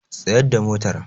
Tsayar da motar!